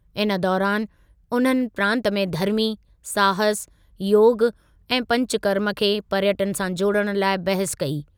इन दौरानि उन्हनि प्रांतु में धर्मी, साहसु, योगु ऐं पंचकर्म खे पर्यटनु सां जोड़ण लाइ बहसु कई।